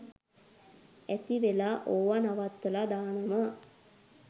ඇතිවෙලා ඕවා නවත්තලා දානවා